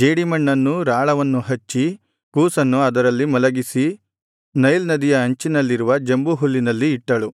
ಜೇಡಿಮಣ್ಣನ್ನೂ ರಾಳವನ್ನು ಹಚ್ಚಿ ಕೂಸನ್ನು ಅದರಲ್ಲಿ ಮಲಗಿಸಿ ನೈಲ್ ನದಿಯ ಅಂಚಿನಲ್ಲಿರುವ ಜಂಬುಹುಲ್ಲಿನಲ್ಲಿ ಇಟ್ಟಳು